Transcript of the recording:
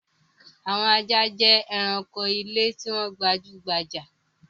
Àwọn ajá jẹ́ ẹranko ilé tó gbajú-gbajà.